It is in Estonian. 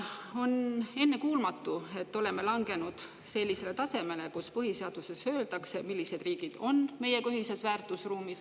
On ennekuulmatu, et oleme langenud sellisele tasemele, kus põhiseaduses öeldakse, millised riigid on meiega ühises väärtusruumis.